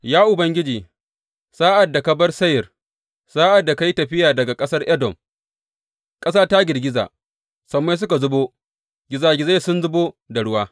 Ya Ubangiji, sa’ad da ka bar Seyir, sa’ad da ka yi tafiya daga ƙasar Edom, ƙasa ta girgiza, sammai suka zubo, gizagizai sun zubo da ruwa.